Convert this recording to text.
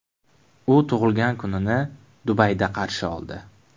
U tug‘ilgan kunini Dubayda qarshi oldi.